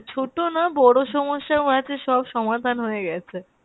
ছোটো না বড় সমস্যাও আছে সব সমাধান হয়ে গেছে।